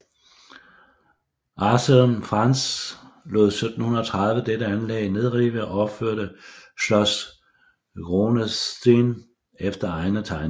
Anselm Franz lod 1730 dette anlæg nedrive og opførte Schloss Groenesteyn efter egne tegninger